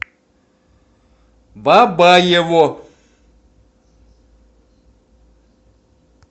бабаево